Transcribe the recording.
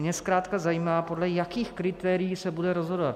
Mě zkrátka zajímá, podle jakých kritérií se bude rozhodovat.